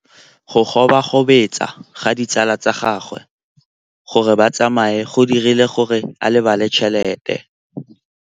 Go gobagobetsa ga ditsala tsa gagwe, gore ba tsamaye go dirile gore a lebale tšhelete.